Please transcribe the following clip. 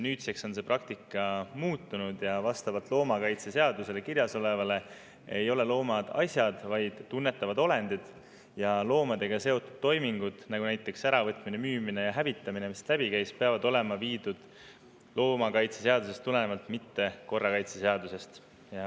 Nüüdseks on see praktika muutunud ja vastavalt loomakaitseseadusele loomad ei ole asjad, vaid tunnetavad olendid, ja loomadega seotud toimingud, näiteks nende äravõtmine, müümine ja hävitamine, mis siit läbi käis, peavad olema läbi viidud tulenevalt loomakaitseseadusest, mitte korrakaitseseadusest.